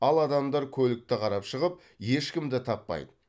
ал адамдар көлікті қарап шығып ешкімді таппайды